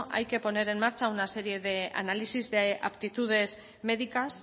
hay que poner en marcha una serie de análisis de aptitudes médicas